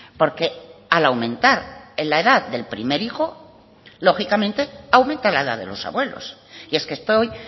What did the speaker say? porque al aumentar en la edad del primer hijo lógicamente aumenta la edad de los abuelos y es que estoy